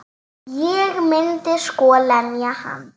Ég myndi sko lemja hann.